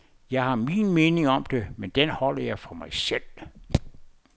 Jeg har min mening om det, men den holder jeg for mig selv.